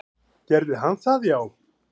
Gerði hann það já?